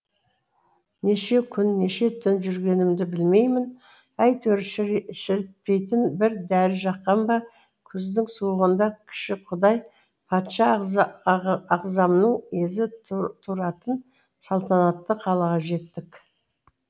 неше күн неше түн жүргенімді білмеймін әйтеуір шірітпейтін бір дәрі жаққан ба күздің суығында кіші құдай патша ағзамның езі туратын салтанатты қалаға жеттік